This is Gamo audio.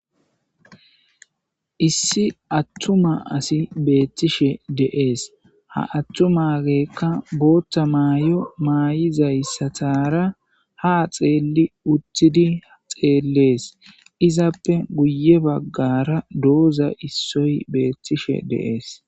Issi atuma asi betishshe de'ees.haa atumageyikka boththa mayo mayizayisatara haa xeelli uttidi haa xeelles.izappe guye bagara dozayi issoyi bettishshe de'ees.